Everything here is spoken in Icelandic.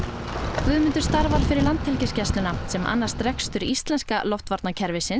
Guðmundur starfar fyrir Landhelgisgæsluna sem annast rekstur íslenska